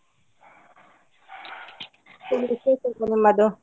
ಏನ್ ವಿಶೇಷ ನಿಮ್ಮದು?